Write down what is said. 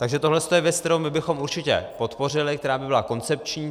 Takže tohle je věc, kterou bychom určitě podpořili, která by byla koncepční.